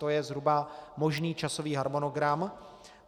To je zhruba možný časový harmonogram.